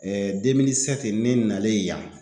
ne nalen yan